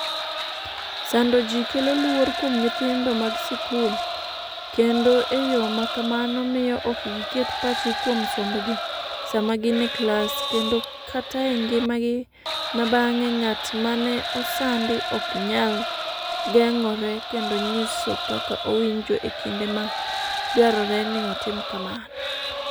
sando ji kelo luor kuom nyithindo mag skul kendo e yo ma kamano miyo ok giket pachgi kuom sombgi sama gin e klas kendo kata e ngimagi ma bang'e Ng’at mane osandi ok nyal geng’ore kendo nyiso kaka owinjo e kinde ma dwarore ni otim kamano.